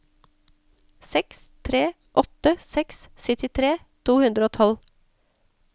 seks tre åtte seks syttitre to hundre og tolv